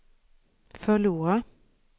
förlora